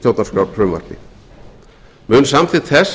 stjórnarskrárfrumvarpi mun samþykkt þess